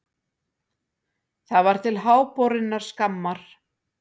Það var til háborinnar skammar.